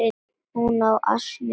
Hún á ansi erfitt núna.